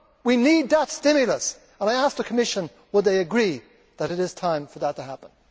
We need that stimulus and I ask the Commission, would they agree that it is time for that to happen?